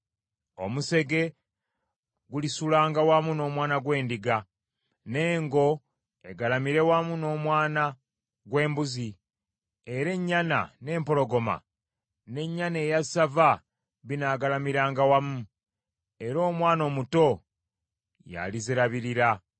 Omusege gulisulanga wamu n’omwana gw’endiga, n’engo egalamire wamu n’omwana gw’embuzi; era ennyana n’empologoma n’ennyana eya ssava binaagalamiranga wamu; era omwana omuto yalizirabirira.